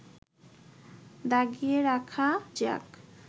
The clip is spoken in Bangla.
দাগিয়ে রাখা যাক